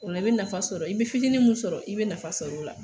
Olo i be nafa sɔrɔ i be fitinin min sɔrɔ i be nafa sɔrɔ o la